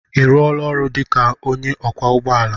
I ruola ọrụ dị ka onye ọkwọ ụgbọala?